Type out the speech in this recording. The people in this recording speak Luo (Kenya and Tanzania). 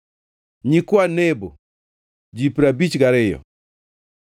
nyikwa Nebo, ji piero abich gariyo (52),